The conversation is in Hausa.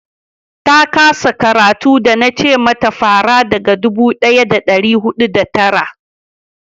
ta kasa karatu da na ce mata fara daga dubu daya da dari hudu da tara